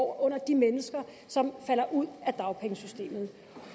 under de mennesker som falder ud af dagpengesystemet